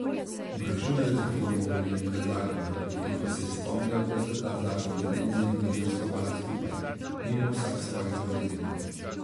Obračunal je z reformo volilnega zakona, potem pa se je spomnil, da sta ta zakon z Renzijem vendar skovala skupaj, mimo vsak svojih zaveznikov.